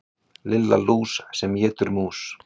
Lilla lús sem étur mús.